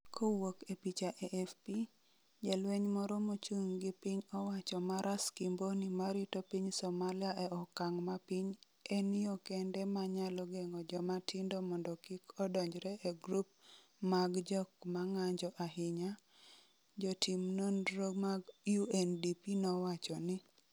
kowuok e picha AFP, Jalweny moro mochung' gi piny owacho ma Ras Kimboni ma rito piny Somalia e okang’ ma piny en yo kende ma nyalo geng’o joma tindo mondo kik odonjre e grup mag jok ma ng’anjo ahinya, jotim nonro mag UNDP nowacho ni.